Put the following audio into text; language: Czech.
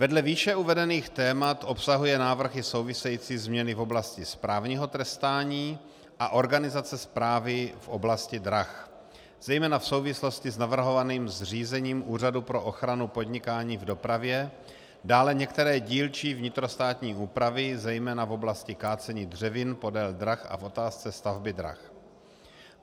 Vedle výše uvedených témat obsahuje návrh i související změny v oblasti správního trestání a organizace správy v oblasti drah zejména v souvislosti s navrhovaným zřízením Úřadu pro ochranu podnikání v dopravě, dále některé dílčí vnitrostátní úpravy, zejména v oblasti kácení dřevin podél drah a v otázce stavby drah.